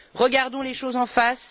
Regardons les choses en face.